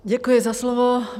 Děkuji za slovo.